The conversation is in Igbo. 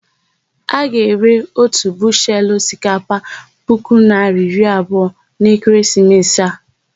A ga-ere ótù bushelu osikapa puku naịra iri abụọ n'ekeresimesi a.